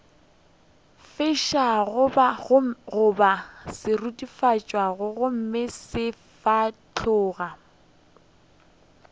fišago goba seruthufatši gomme sefahlogo